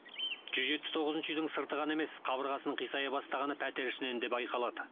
жүз жетпіс тоғызыншы үйдің сырты ғана емес қабырғасының қисая бастағаны пәтер ішінен де байқалады